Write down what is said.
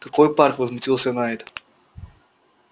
какой парк возмутился найд